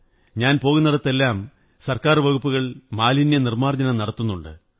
ഞാൻ പോകുന്നിടത്തെല്ലാം സര്ക്കായർ വകുപ്പ് മാലിന്യനിര്മ്മാുര്ജ്ജരനം നടത്തുന്നുണ്ട്